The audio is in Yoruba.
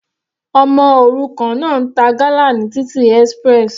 Ọmọ òrukàn náà ń ta gala ní títì express.